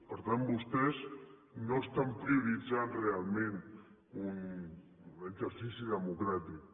per tant vostès no estan prioritzant realment un exercici democràtic